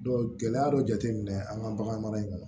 gɛlɛya dɔ jateminɛ an ka bagan mara in kɔnɔ